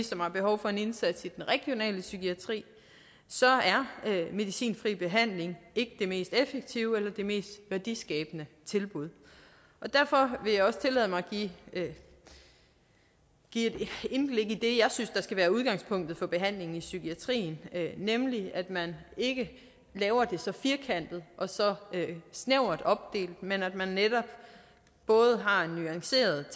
som har behov for en indsats i den regionale psykiatri så er medicinfri behandling ikke det mest effektive eller det mest værdiskabende tilbud derfor vil jeg også tillade mig at give et indblik i det jeg synes der skal være udgangspunktet for behandlingen i psykiatrien nemlig at man ikke laver det så firkantet og så snævert opdelt men at man netop både har en nuanceret